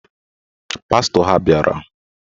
Pastọ ha bịara